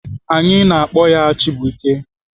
Anyị na-akpọ ya Chibụike.